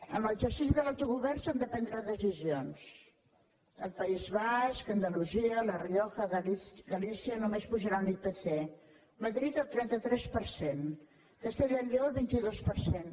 en l’exercici de l’autogovern s’han de prendre decisions el país basc andalusia la rioja galícia només apujaran l’ipc madrid el trenta tres per cent castella i lleó el vint dos per cent